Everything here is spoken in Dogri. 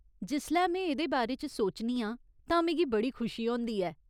जिसलै में एह्दे बारे च सोचनी आं तां मिगी बड़ी खुशी होंदी ऐ।